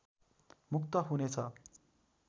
मुक्त हुनेछ